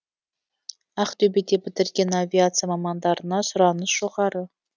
ақтөбеде бітірген авиация мамандарына сұраныс жоғары